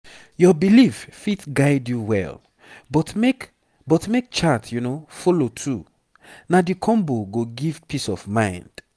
your belief fit guide you well but make but make chart follow too na the combo go give peace of mind